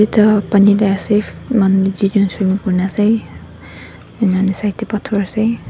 etu pani teh ase manu duijon swimming kurine ase enia hoine side teh pathor ase.